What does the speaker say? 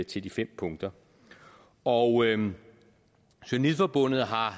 til de fem punkter og journalistforbundet har